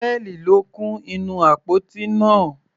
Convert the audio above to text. Pearl ló kún inú àpótí náà.